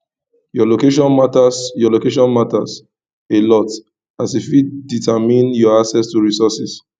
your location matters your location matters a lot e fit determine your access to resourses